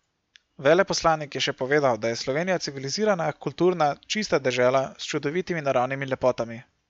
Veleposlanik je še povedal, da je Slovenija civilizirana, kulturna, čista dežela s čudovitimi naravnimi lepotami.